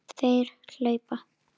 Þeir hlaupa!